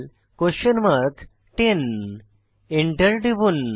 10 enter টিপুন